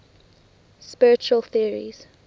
spiritual theories